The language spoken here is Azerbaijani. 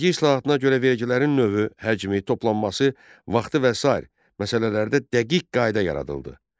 Vergi islahatına görə vergilərin növü, həcmi, toplanması, vaxtı və sair məsələlərdə dəqiq qayda yaradıldı.